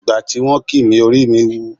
Ìgbà tí wọ́n kì mí orí mi wú.